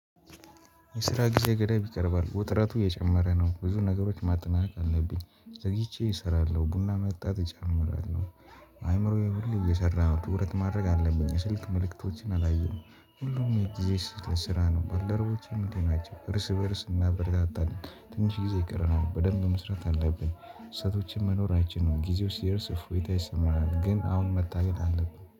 የስራ ጊዜ ገደብ ይቀርባል ውጥረቱ የጨመረ ነው። ብዙ ነገሮች ማጠናቀቅ አለብኝ ዘግይቼ እሰራለሁ ቡና መጠጣት እጀምራለሁ። አይምሮዬ ሁሉ እየሰራ ነው ትኩረት ማድረግ አለብኝ። ስልክ መልእክቶችን አላየሁም ሁሉም ጊዜ ስራ ነው። ባለሮቦቼም እንዲህ ናቸው እርስ በእርስ እናበረታታለን። ትንሽ ጊዜ ይቀረናል በደንብ መስራት አለብን። ስህተቶችን መኖር አይችልም ጊዜው ሲርስ እፎይታ ይሰማናል። ግን አሁን መታገል አለብኝ